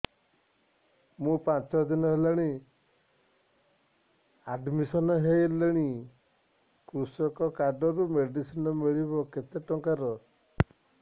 ମୁ ପାଞ୍ଚ ଦିନ ହେଲାଣି ଆଡ୍ମିଶନ ହେଲିଣି କୃଷକ କାର୍ଡ ରୁ ମେଡିସିନ ମିଳିବ କେତେ ଟଙ୍କାର